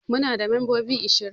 Muna da mambobi ashirin